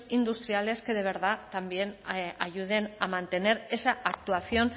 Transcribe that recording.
industriales que de verdad también ayuden a mantener esa actuación